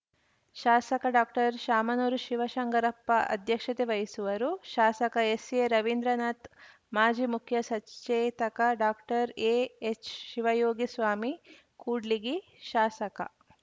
ಶಾಸಕ ಡಾಕ್ಟರ್ಶಾಮನೂರು ಶಿವಶಂಕರಪ್ಪ ಅಧ್ಯಕ್ಷತೆ ವಹಿಸುವರು ಶಾಸಕ ಎಸ್‌ಎರವೀಂದ್ರನಾಥ್‌ ಮಾಜಿ ಮುಖ್ಯ ಸಚೇತಕ ಡಾಕ್ಟರ್ಎಎಚ್‌ಶಿವಯೋಗಿ ಸ್ವಾಮಿ ಕೂಡ್ಲಿಗಿ ಶಾಸಕ